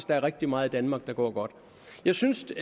der er rigtig meget i danmark der går godt jeg synes